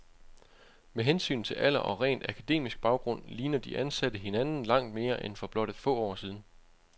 Med hensyn til alder og rent akademisk baggrund ligner de ansatte hinanden langt mere end for blot få år siden.